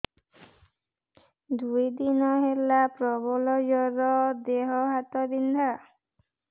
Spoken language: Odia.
ଦୁଇ ଦିନ ହେଲା ପ୍ରବଳ ଜର ଦେହ ହାତ ବିନ୍ଧା